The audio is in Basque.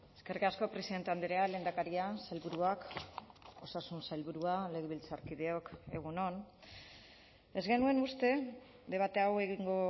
eskerrik asko presidente andrea lehendakaria sailburuak osasun sailburua legebiltzarkideok egun on ez genuen uste debate hau egingo